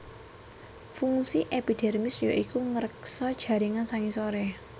Fungsi epidermis ya iku ngreksa jaringan sangisoré